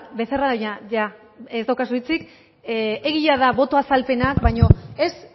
becerra ya ez daukazu hitzik egia da boto azalpenak baino ez